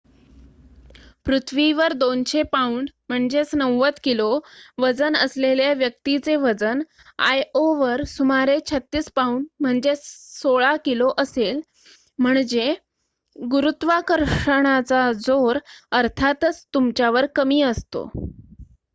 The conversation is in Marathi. पृथ्वीवर २०० पाउंड ९० किलो वजन असलेल्या व्यक्तीचे वजन आयओवर सुमारे ३६ पाउंड १६ किलो असेल. म्हणजे गुरुत्वाकर्षणाचा जोर अर्थातच तुमच्यावर कमी असतो